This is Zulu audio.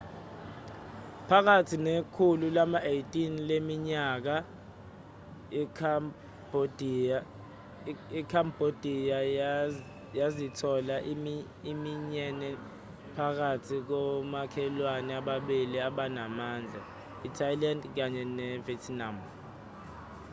phakathi nekhulu lama-18 leminyaka ikhambhodiya yazithola iminyene phakathi komakhelwne ababili abanamandla i-thailand kanye nevietnam